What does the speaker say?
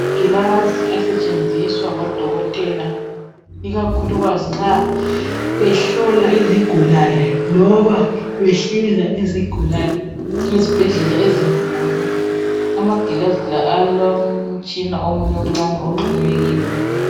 Amangilazi asetshenziswa ngodokoteka ikakhulu nxa behlola izigulane loba behlinza izigulane ezibhedlela ezinkulu amangilazi la alomtshina omncani ahlonywe kiwo